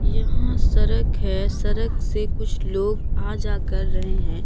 यहां सड़क है सड़क से कुछ लोग आ जा कर रहे हैं।